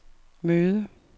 møde